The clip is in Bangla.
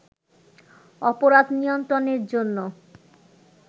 অপরাধ নিয়ন্ত্রণের জন্য